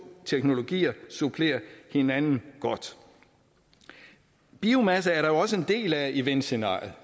teknologier supplerer hinanden godt biomasse er der jo også en del af i vindscenariet